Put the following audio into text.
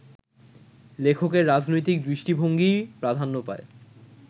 লেখকের রাজনৈতিক দৃষ্টিভঙ্গিই প্রাধান্য পায়